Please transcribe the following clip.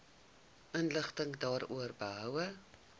inligting daaroor behoue